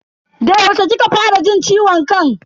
Da yaushe kika fara jin ciwon kan?